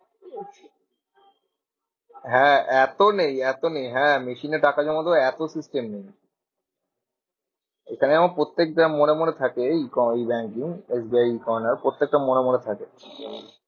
হ্যাঁ এত নেই এত নেই হ্যাঁ machine এ টাকা জমা দেওয়ার এত system নেই। এখানে যেমন প্রত্যেকটা মোড়ে মোড়ে থাকে ওই banking S B I corner প্রত্যেকটা মোড়ে মোড়ে থাকে।